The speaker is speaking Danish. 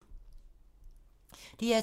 DR2